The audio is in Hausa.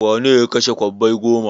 Wane ne ya kashe kwabbai goma?